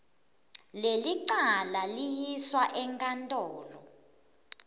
lelicala liyiswa enkantolo